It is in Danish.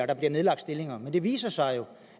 der bliver nedlagt stillinger men det viser sig jo